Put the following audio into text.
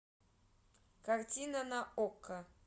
картина на окко